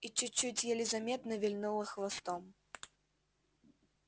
и чуть-чуть еле заметно вильнула хвостом